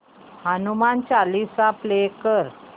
Hanuman Chalisa play कर